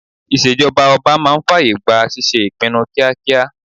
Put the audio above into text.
Ìṣèjọba ọba máa ń fàyè gba ṣíṣe ìpinnu kíákíá